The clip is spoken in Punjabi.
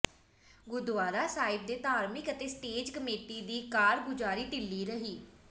ਗੁਰਦੁਆਰਾ ਸਾਹਿਬ ਦੇ ਧਾਰਮਿਕ ਅਤੇ ਸਟੇਜ ਕਮੇਟੀ ਦੀ ਕਾਰਗੁਜ਼ਾਰੀ ਢਿੱਲੀ ਰਹੀ